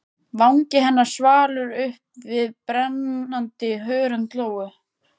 Vangi hennar svalur uppi við brennandi hörund Lóu.